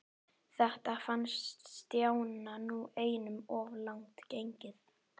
Þetta fannst Stjána nú einum of langt gengið.